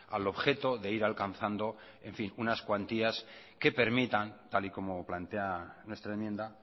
al objeto de ir alcanzando en fin unas cuantías que permitan tal y como plantea nuestra enmienda